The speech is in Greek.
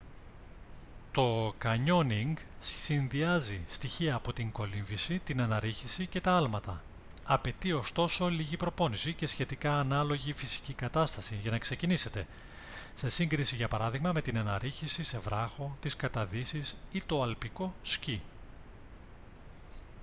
το κανιόνινγκ συνδυάζει στοιχεία από την κολύμβηση την αναρρίχηση και τα άλματα - απαιτεί ωστόσο λίγη προπόνηση και σχετικά ανάλογη φυσική κατάσταση για να ξεκινήσετε σε σύγκριση για παράδειγμα με την αναρρίχηση σε βράχο τις καταδύσεις ή το αλπικό σκι